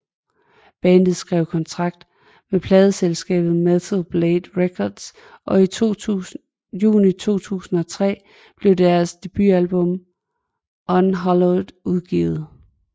Bandet skrev kontrakt med pladeselskabet Metal Blade Records og i juni 2003 blev deres debutalbum Unhallowed udgivet